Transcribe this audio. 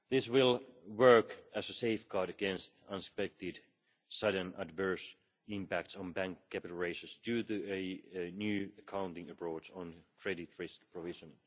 This will work as a safeguard against unexpected sudden adverse impacts on bank capital raises, due to a new accounting approach on credit risk provision.